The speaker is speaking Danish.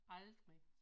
Aldrig